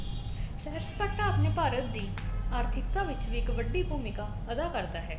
ਸੈਰ ਸਪਾਟਾ ਆਪਣੇ ਭਾਰਤ ਦੀ ਆਰਥਿਕਤਾ ਵਿਚ ਵੀ ਇੱਕ ਵੱਡੀ ਭੂਮਿਕਾ ਅਦਾ ਕਰਦਾ ਹੈ